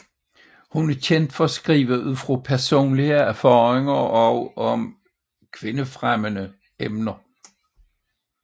Hun er kendt for at skrive ud fra personlige erfaringer og om kvindefremmende emner